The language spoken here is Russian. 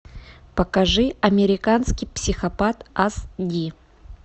покажи американский психопат ас ди